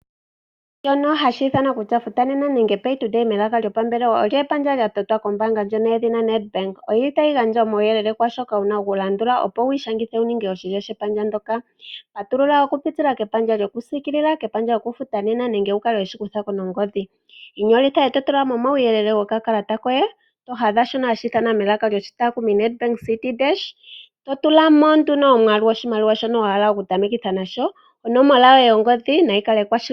Shono hashi ithanwa kutya futa nena olyo epandja ndyono lya totwa kombaanga yedhina Nedbank. Otayi gandja uuyelele kwaa shoka wu na okulandula, opo wu ishangithe wu ninge oshilyo shepandja ndyoka. Patulula okupitila kepandja lyokusiikilila, kepandja lyokufuta nena nenge wu kale we shi kutha ko nongodhi. Inyolitha e to tula mo omauyelele gokakalata koye, to hadha shono hashi ithanwa Nedbank Citi Dash, to tula mo nduno omwaalu goshimaliwa shono wa hala okutamekitha nasho. Onomola yoye yongodhi nayi kale ekwashilipaleko.